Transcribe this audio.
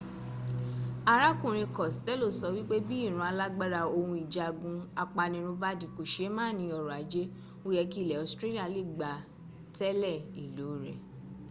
arákùnrin costello sọ wípé bí ìran alágbára ohun ìjagun apanirun bá di kòseémàní ọrọ̀ ajé ó yẹ kí ilẹ̀ australia lè gbá tẹ̀le ìlò rẹ̀